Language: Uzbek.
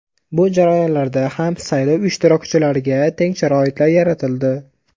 Bu jarayonlarda ham saylov ishtirokchilariga teng sharoitlar yaratildi.